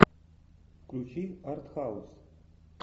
включи артхаус